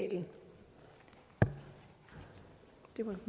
at det